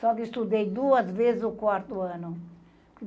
Só que eu estudei duas vezes o quarto ano.